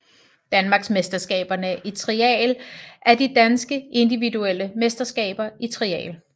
Danmarksmesterskaberne i Trial er de danske individuelle mesterskaber i trial